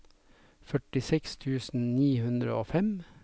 førtiseks tusen ni hundre og fem